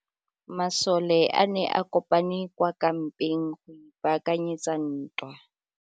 Masole a ne a kopane kwa kampeng go ipaakanyetsa ntwa.